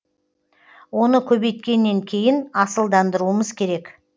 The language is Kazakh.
оны көбейткеннен кейін асылдандыруымыз керек